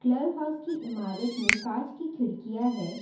Club house के इमारत में कांच की खिड़कियां है।